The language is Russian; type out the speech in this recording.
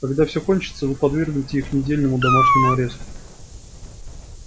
когда всё кончится вы подвергнете их недельному домашнему аресту